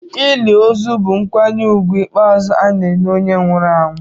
Ili ozu bụ nkwanye ùgwù ikpeazụ ana-enye onye nwụrụ anwụ.